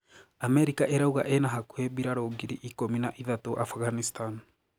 Amerika iraûga inahakũhĩ mbĩrarũ ngirĩ ikumĩ na ithatũ Afghanistan